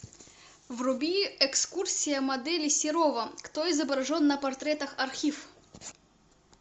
вруби экскурсия модели серова кто изображен на портретах архив